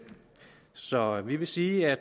så vi vil sige at